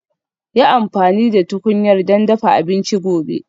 Yi amfani da tukunyar don dafa abinci gobe